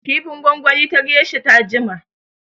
Kifin gwangwani ta geisha ta jima.